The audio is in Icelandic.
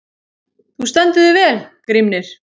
Þú stendur þig vel, Grímnir!